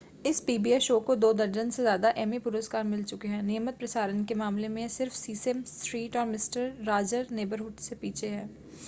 इस pbs show को दो दर्जन से ज़्यादा एमी पुरस्कार मिल चुके हैं नियमित प्रसारण के मामले में यह सिर्फ़ सीसेम स्ट्रीट और मिस्टर रॉजर नेबरहुड से पीछे है